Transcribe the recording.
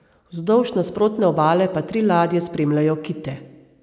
Vzdolž nasprotne obale pa tri ladje spremljajo kite.